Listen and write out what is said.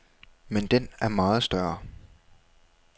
Men den er meget større.